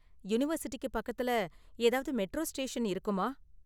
யூனிவர்சிட்டிக்கு பக்கத்துல ஏதாவது மெட்ரா ஸ்டேஷன் இருக்குமா?